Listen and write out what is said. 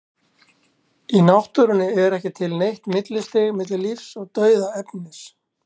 í náttúrunni er ekki til neitt millistig milli lífs og dauðs efnis